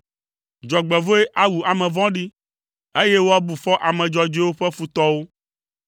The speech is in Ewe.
Dzɔgbevɔ̃e awu ame vɔ̃ɖi, eye woabu fɔ ame dzɔdzɔewo ƒe futɔwo.